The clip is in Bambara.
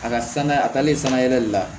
A ka sanga a taalen sanga yɛlɛli la